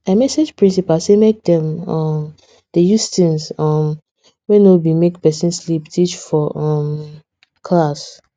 i message principal say make dem um dey use things um wey no be make pesin sleep teach for um class